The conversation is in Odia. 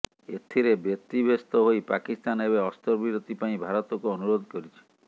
ଏଥିରେ ବ୍ୟତିବ୍ୟସ୍ତ ହୋଇ ପାକିସ୍ତାନ ଏବେ ଅସ୍ତ୍ରବିରତି ପାଇଁ ଭାରତକୁ ଅନୁରୋଧ କରିଛି